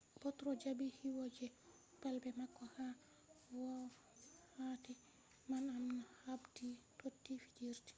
potro jabi kiwo je balbe mako ha wokkati man amma habdi toti fijirde